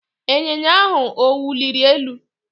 Ịnyịnya ahụ ọ wuliri elu?